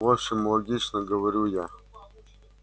в общем логично говорю я